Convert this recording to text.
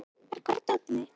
Marri, hvar er dótið mitt?